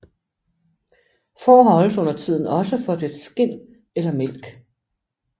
Får holdes undertiden også for dets skind eller mælk